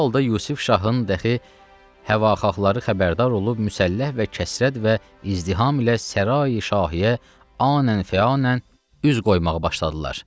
Bu halda Yusif şahın dəxi həvaxahları xəbərdar olub müsəlləh və kəsrət və izdiham ilə Sərayi-Şahiyə anən fəanən üz qoymağa başladılar.